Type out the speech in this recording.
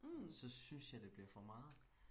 så synes jeg det bliver for meget